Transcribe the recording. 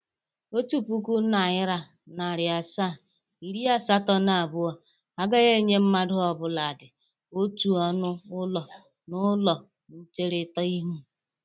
Otu pụkụ Naira, narị asaa, iri asatọ na abụọ agahi enye mmadụ ọbụladị otu ọnụ ụlọ na ụlọ ncherita ihu